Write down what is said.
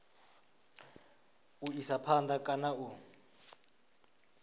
u isa phanda kana u